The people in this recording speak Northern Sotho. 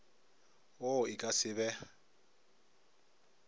wo e ka se be